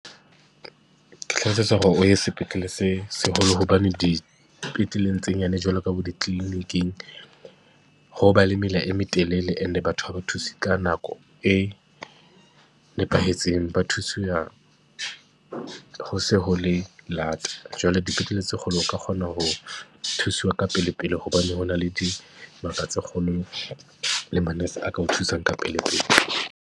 Ke hlalosetsa hore o ye sepetlele se seholo, hobane dipetleleng tse nyane, jwalo ka bo dikliniking, ho ba le mela e metelele. Ene batho ha ba thuse ka nako e nepahetseng, ba thusiwa ho se ho le lata. Jwale dipetlele tse kgolo o ka kgona ho thuswa ka pelepele hobane ho na le dibaka tse kgolo le manese a ka o thusang ka pelepele.